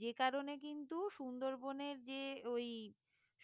যে কারণে কিন্তু সুন্দরবনের যে ওই